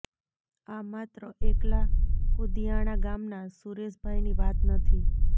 આ માત્ર એકલા કુદીયાણા ગામના સુરેશ ભાઈની વાત નથી